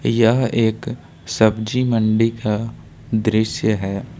यह एक सब्जी मंडी का दृश्य है।